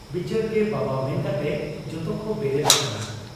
ᱵᱤᱪᱟᱹᱨᱜᱮ ᱵᱟᱵᱟ ᱢᱮᱱᱠᱟᱛᱮ ᱡᱚᱛᱚᱠᱚ ᱵᱮᱨᱮᱫ ᱟᱠᱟᱱᱟ ᱾